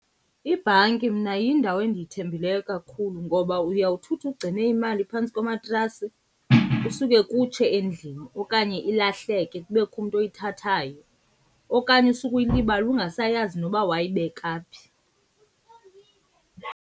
Ibhanki mna yindawo endiyithembileyo kakhulu ngoba uyawuthi uthi ugcine imali phantsi komatrasi kusuke kutshe endlini okanye ilahleke, kubekho umntu oyithathayo. Okanye usuke uyilibale ungasayazi noba wayibeka phi.